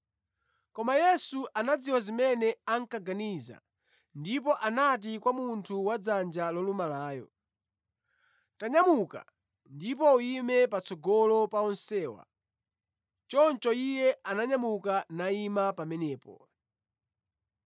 Koma Yesu anadziwa zimene ankaganiza ndipo anati kwa munthu wadzanja lolumalayo, “Tanyamuka ndipo uyime patsogolo pa onsewa.” Choncho iye ananyamuka nayima pamenepo.